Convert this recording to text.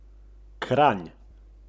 Pa je že april!